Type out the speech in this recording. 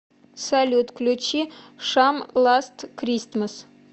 салют включи шам ласт кристмас